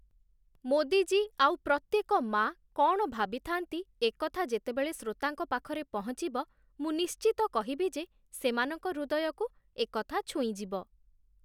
ମୋଦି ଜୀ ଆଉ ପ୍ରତ୍ୟେକ ମାଆ କ'ଣ ଭାବିଥାନ୍ତି ଏକଥା ଯେତେବେଳେ ଶ୍ରୋତାଙ୍କ ପାଖରେ ପହଞ୍ଚିବ ମୁଁ ନିଶ୍ଚିତ କହିବି ଯେ ସେମାନଙ୍କ ହୃଦୟକୁ ଏକଥା ଛୁଇଁଯିବ ।